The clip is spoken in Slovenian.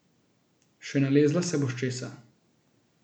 Še nalezla se boš česa!